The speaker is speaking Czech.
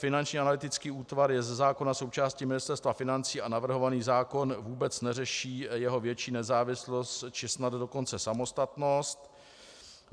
Finanční analytický útvar je ze zákona součástí Ministerstva financí a navrhovaný zákon vůbec neřeší jeho větší nezávislost, či snad dokonce samostatnost.